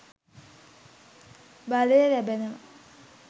බලය ලැබෙනවා.